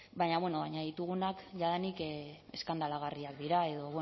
baina ditugunak jadanik eskandalagarriak dira edo